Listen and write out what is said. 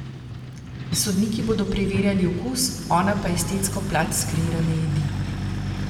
Sodniki bodo preverjali okus, ona pa estetsko plat skreirane jedi.